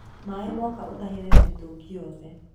Maĩ moka ũtahĩrĩre mĩtungi yothe.